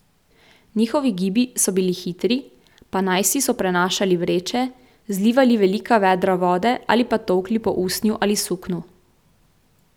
Njihovi gibi so bili hitri, pa najsi so prenašali vreče, zlivali velika vedra vode ali pa tolkli po usnju ali suknu.